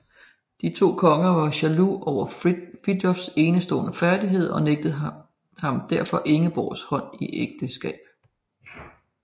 De to konger var jaloux over Fridtjofs enestående færdigheder og nægtede ham derfor Ingeborgs hånd i ægteskab